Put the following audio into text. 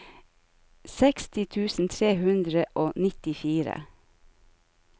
seksti tusen tre hundre og nittifire